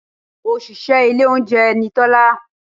Òṣìṣẹ́ ilé oúnjẹ ni Tọ́lá